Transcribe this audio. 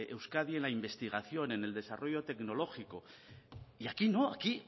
euskadi en la investigación en el desarrollo tecnológico y aquí no aquí